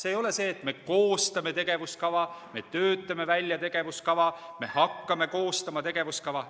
Ei ole öeldud, et me koostame tegevuskava, me töötame välja tegevuskava, me hakkame koostama tegevuskava.